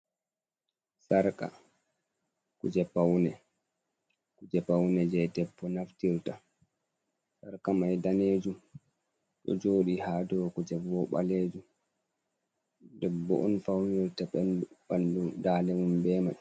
Sarka kuje paune, kuje paune je debbo naftirta, sarka mai ɗanejum, ɗo joɗi ha dou kuje bo ɓalejum, debbo on faunirta ɓanɗu, ɓanɗu, dande mum be mai.